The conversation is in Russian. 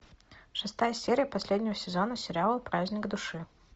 шестая серия последнего сезона сериала праздник души